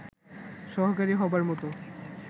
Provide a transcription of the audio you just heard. সহকারী হবার মত